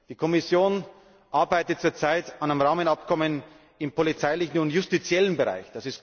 Die Kommission arbeitet zur Zeit an einem Rahmenabkommen im polizeilichen und justiziellen Bereich.